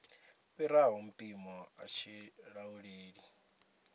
fhiraho mpimo a tshi lauleli